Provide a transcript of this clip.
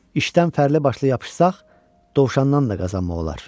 İşdən fərli başlı yapışsaq, dovşandan da qazanmaq olar.